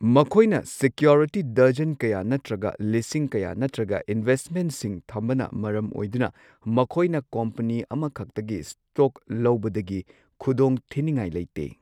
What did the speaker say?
ꯃꯈꯣꯏꯅ security dozen ꯀꯌꯥ ꯅꯠꯇ꯭ꯔꯒ ꯂꯤꯁꯤꯡ ꯀꯌꯥ, ꯅꯠꯇ꯭ꯔꯒ ꯏꯟꯚꯦꯁꯠꯃꯦꯟꯠꯁꯤꯡ ꯊꯝꯕꯅ ꯃꯔꯝ ꯑꯣꯏꯗꯨꯅ ꯃꯈꯣꯏꯅ ꯀꯝꯄꯅꯤ ꯑꯃꯈꯛꯇꯒꯤ ꯁ꯭ꯇꯣꯛ ꯂꯧꯕꯗꯒꯤ ꯈꯨꯗꯣꯡ ꯊꯤꯅꯤꯉꯥꯏ ꯂꯩꯇꯦ꯫